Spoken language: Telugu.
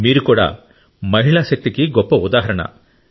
మీరు కూడా మహిళా శక్తికి గొప్ప ఉదాహరణ